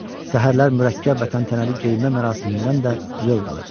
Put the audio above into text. Səhərlər mürəkkəb vətən tənəli geyimə mərasimindən də zövq alırdı.